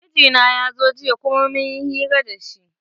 Mijina ya zo jiya kuma mun yi hira da shi.